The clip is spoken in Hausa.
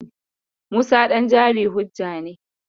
Musa ɗan jari hujja ne.